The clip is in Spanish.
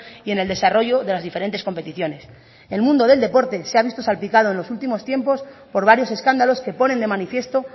y en el desarrollo de las diferentes competiciones el mundo del deporte de ha visto salpicado en los últimos tiempos por varios escándalos que ponen de manifiesto